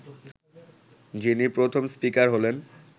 যিনি প্রথম স্পিকার হলেন